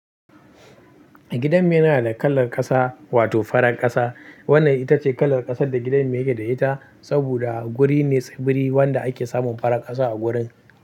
Gidan mu yana da kalar ƙasa wato farar ƙasa. Wannan ita ce kalar ƙasar da gidan mu yake da ita saboda guri ne tsibiri wanda ake samun farar ƙasa a gurin.